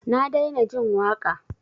Na daina jin waƙa.